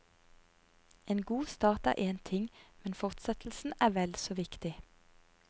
En god start er en ting, men fortsettelsen er vel så viktig.